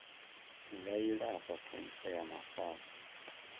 nga ilafha khentsa ya mafhafhu